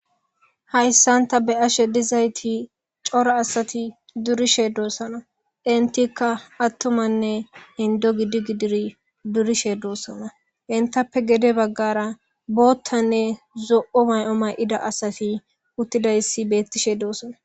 Hayssan ta be'she dizayiti coora asati durishe dosona entikka attumanne inddo gidi gididdi durishe dosona entappe gede bagara boththanne zo'o may'o mayidi asati uttidays bettossona.